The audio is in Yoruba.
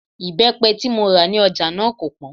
Ìbẹ́pẹ tí mo rà ní ọjà náà kò pọ́n